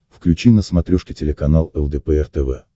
включи на смотрешке телеканал лдпр тв